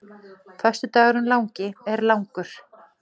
Föstudagurinn langi er langur.